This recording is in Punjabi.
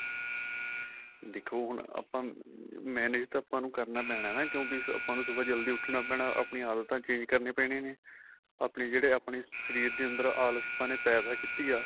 ਦੇਖੋ ਹੁਣ ਆਪਾਂ manage ਤਾਂ ਆਪਾਂ ਨੂੰ ਕਰਨਾ ਪੈਣਾ ਨਾ ਕਿਉਂਕਿ ਆਪਾਂ ਨੂੰ ਸੁਬਹਾ ਜਲਦੀ ਉੱਠਣਾ ਪੈਣਾ ਆਪਣੀਆਂ ਆਦਤਾਂ change ਕਰਨੀਆਂ ਪੈਣੀਆਂ ਨੇ ਆਪਣੇ ਜਿਹੜੇ ਆਪਣੇ ਸ਼ਰੀਰ ਅੰਦਰ ਆਲਸ ਪੱਣ ਏ ਪੇਦਾ ਕੀਤੀ ਆ